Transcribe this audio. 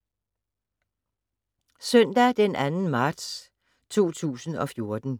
Søndag d. 2. marts 2014